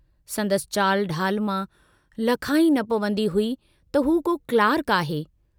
संदसि चाल ढाल मां लखा ई न पवंदी हुई त हू को क्लार्क आहे।